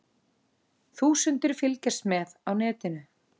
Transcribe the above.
Þúsundir fylgjast með á netinu